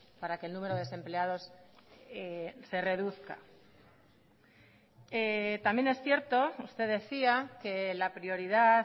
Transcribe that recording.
para que el número de desempleados se reduzca también es cierto usted decía que la prioridad